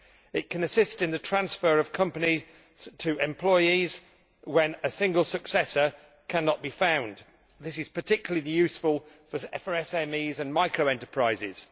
It can assist in the transfer of a company to employees when a single successor cannot be found this is particularly useful in the case of SMEs and micro enterprises.